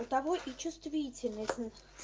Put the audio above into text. у ого и чувствительность